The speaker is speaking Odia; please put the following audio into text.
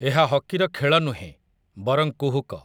ଏହା ହକିର ଖେଳ ନୁହେଁ, ବରଂ କୁହୁକ ।